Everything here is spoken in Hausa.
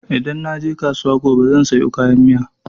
Idan naje kasuwa gobe zan sayo kayan miya.